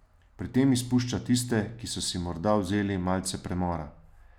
Pri tem izpušča tiste, ki so si morda vzeli malce premora.